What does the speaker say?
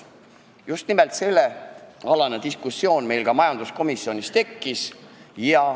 Just nimelt see diskussioon meil majanduskomisjonis tekkis.